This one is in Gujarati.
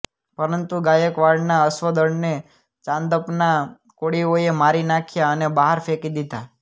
પરંતુ ગાયકવાડના અશ્વદળને ચાંદપના કોળીઓએ મારી નાખ્યા અને બહાર ફેંકી દીધા